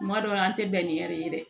Kuma dɔw la an tɛ bɛn ni ye dɛ